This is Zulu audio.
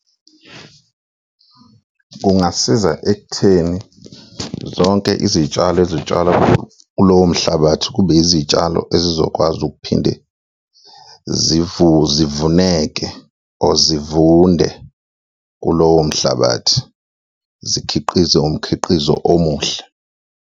Kungasiza ekutheni zonke izitshalo ezitshalwa kulowo mhlabathi kube izitshalo ezizokwazi ukuphinde zivuneke or zivunde kulowo mhlabathi, zikhiqize umkhiqizo omuhle.